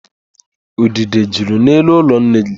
Udide juru n'elu ụlọ nne gị.